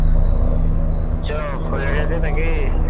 চ হয়ে গেছে নাকি